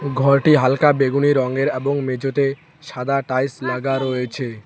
ঘরটি হালকা বেগুনি রংয়ের এবং মেঝেতে সাদা টাইলস লাগা রয়েছে।